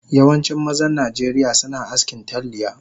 Yawancin mazan najeriya suna askin talliya